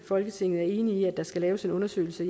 folketinget er enige om at der skal laves en undersøgelse